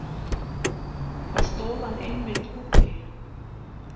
Þá stóð hann einmitt úti.